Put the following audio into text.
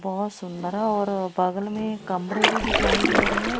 बहोत सुंदर है और बगल में कमरे भी दिखाई दे रहे हैं।